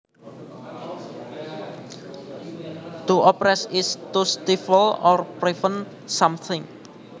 To oppress is to stifle or prevent something